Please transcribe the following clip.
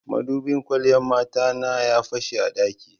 Madubin kwalliyan mata na ya fashe a ɗaki.